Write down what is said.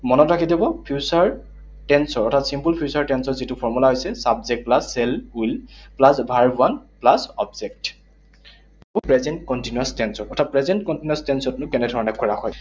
মনত ৰাখি থব, future tense ৰ, অৰ্থাৎ simple future tense ৰ যিটো formula হৈছে subject plus shall will plus verb one plus object. Present continuous tense ত, অৰ্থাৎ present continuous tense তনো কেনেধৰণে কৰা হয়।